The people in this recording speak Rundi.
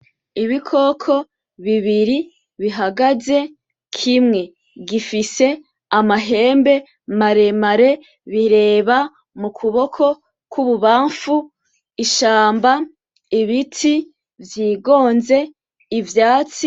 Ibikoko bibiri bihagaze, kimwe gifise amahembe maremare, bireba mu kuboko kw’ibubanfu ishamba , ibiti vyigonze, ivyatsi.